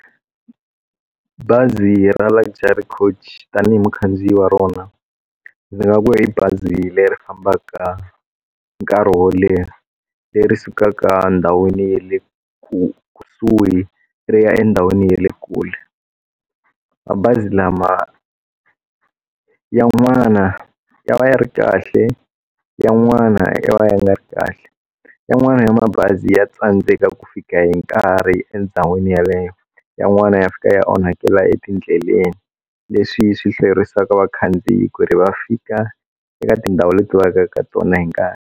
Bazi ra Luxury Coach tanihi mukhandziyi wa rona ndzi nga ku i bazi leri fambaka nkarhi wo leha leri sukaka ndhawini ya le kusuhi ri ya endhawini ya le kule mabazi lama ya n'wana ya va ya ri kahle ya n'wana ya va ya nga ri kahle yin'wana ya mabazi ya tsandzeka ku fika hi nkarhi endhawini yeleyo yan'wana ya fika ya onhakeriwa etindleleni leswi swi hlayerisaka vakhandziyi ku ri va fika eka tindhawu leti va yaka eka tona hi nkarhi.